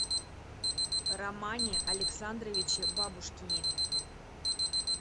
романе александровиче бабушкине